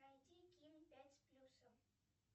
найти ким пять с плюсом